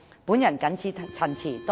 我謹此陳辭。